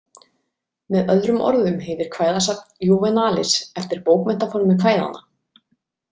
Með öðrum orðum heitir kvæðasafn Júvenalis eftir bókmenntaformi kvæðanna.